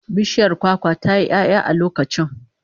Bishiyar kwakwa ta yi 'ya'ya a lokacin